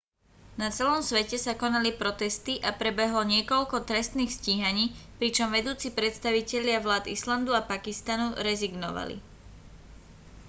na celom svete sa konali protesty a prebehlo niekoľko trestných stíhaní pričom vedúci predstavitelia vlád islandu a pakistanu rezignovali